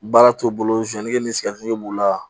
Baara t'o bolo ni sigɛriti b'o la